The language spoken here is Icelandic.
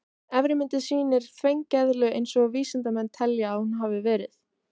Efri myndin sýnir þvengeðlu eins og vísindamenn telja að hún hafi verið.